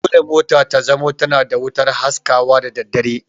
Dole mota ta zamo tana da wutar haskawa da daddare